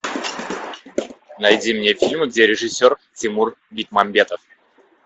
найди мне фильм где режиссер тимур бекмамбетов